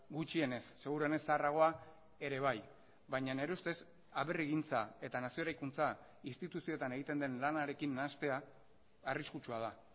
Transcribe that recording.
gutxienez seguruenez zaharragoa ere bai baina nire ustez aberrigintza eta nazio eraikuntza instituzioetan egiten den lanarekin nahastea arriskutsua da